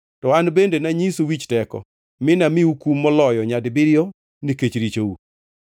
to an bende nanyisu wich teko, mi anamiu kum moloyo nyadibiriyo nikech richou.